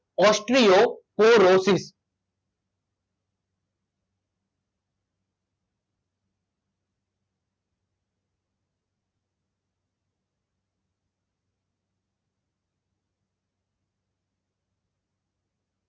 ઓસ્ટ્રીઓ પો રોસિસ